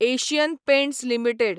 Asian Paints limited